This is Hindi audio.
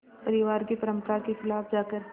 परिवार की परंपरा के ख़िलाफ़ जाकर